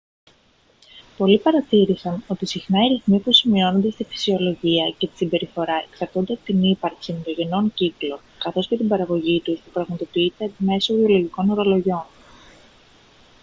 πολλοί παρατήρησαν ότι συχνά οι ρυθμοί που σημειώνονται στη φυσιολογία και τη συμπεριφορά εξαρτώνται από την ύπαρξη ενδογενών κύκλων καθώς και την παραγωγή τους που πραγματοποιείται μέσω βιολογικών ρολογιών